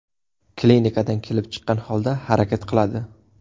Klinikadan kelib chiqqan holda harakat qiladi.